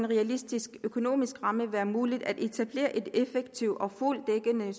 realistiske økonomiske rammer være muligt at etablere et effektivt og fuldt dækkende